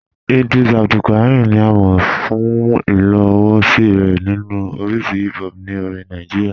Ìdrìs Abdulkárímì ni à mọ̀ fún ìlòwòṣí rẹ̀ nínu oríṣì hìp hòp ní orìn Nàìjíríà.